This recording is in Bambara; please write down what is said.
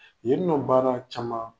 Yen nɔ baara caman